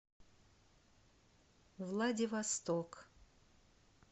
владивосток